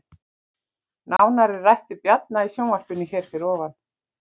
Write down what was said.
Nánar er rætt við Bjarna í sjónvarpinu hér fyrir ofan